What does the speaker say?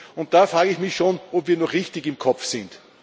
Und da frage ich mich schon, ob wir noch richtig im Kopf sind.